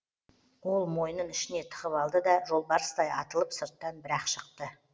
ол мойнын ішіне тығып алды да жолбарыстай атылып сырттан бір ақ шықты